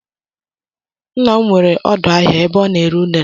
Ńnà m nwere odo áhiá ebe ọ na-ere unere.